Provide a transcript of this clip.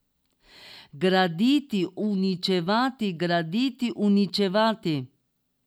Graditi, uničevati, graditi, uničevati?